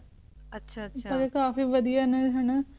ਆਚਾ ਆਚਾ ਕਾਫੀ ਵਾਦਿਯ ਨੇ ਹਾਨਾ